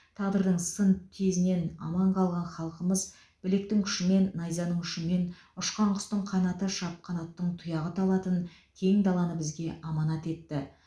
тағдырдың сын тезінен аман қалған халқымыз білектің күшімен найзанын ұшымен ұшқан құстың қанаты шапқан аттың тұяғы талатын кең даланы бізге аманат етті